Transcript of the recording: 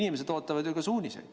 Inimesed ootavad ju ka suuniseid.